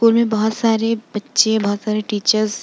school मे बोहोत सारे बच्चे बोहोत सारे टीचर्स --